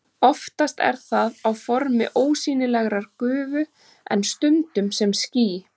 Oftast er það á formi ósýnilegrar gufu en stundum sem ský.